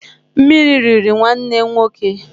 Mmiri riri nwanne nwoke.